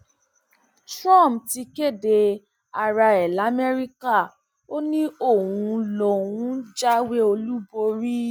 trump ti kéde ara ẹ lamẹríkà ó ní òun lòún jáwé olúborí